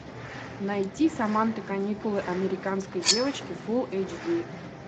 найти саманта каникулы американской девочки фул эйч ди